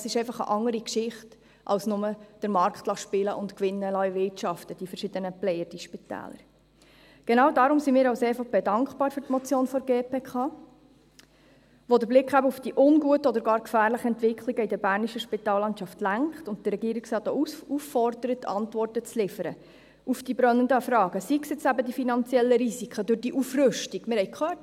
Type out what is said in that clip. Dies ist einfach eine andere Geschichte, als nur den sen. Genau deshalb sind wir für die Motion der GPK sehr dankbar, die den Blick auf die unguten oder gar gefährlichen Entwicklungen in der bernischen Spitallandschaft lenkt und den Regierungsrat auffordert, Antworten auf die brennenden Fragen zu liefern, seien es eben die finanziellen Risiken durch diese Aufrüstung – wir haben es gehört;